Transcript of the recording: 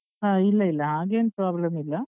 ಹ ಇಲ್ಲ ಇಲ್ಲ ಹಾಗೇನ್ problem ಇಲ್ಲ.